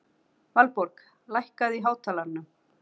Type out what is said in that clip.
Valborg, lækkaðu í hátalaranum.